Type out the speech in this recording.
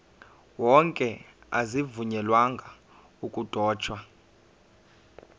wonke azivunyelwanga ukudotshwa